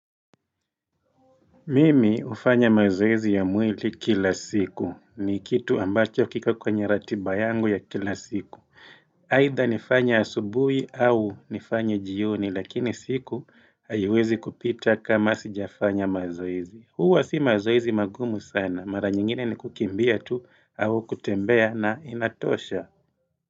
Mimi hufanya mazoezi ya mwili kila siku ni kitu ambacho kiko kwenye ratiba yangu ya kila siku Haidha nifanye asubuhi au nifanye jioni lakini siku haiwezi kupita kama sijafanya mazoezi Huwa si mazoezi magumu sana mara nyingine ni kukimbia tu au kutembea na inatosha.